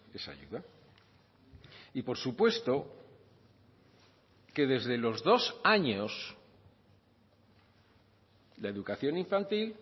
esa ayuda y por supuesto que desde los dos años la educación infantil